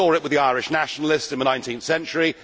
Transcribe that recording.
We saw it with the Irish nationalists in the 19th century.